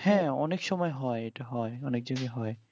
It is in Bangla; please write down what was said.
হ্যাঁ অনেক সময়ে হয় ইটা হয় অনেক সময়ে হয়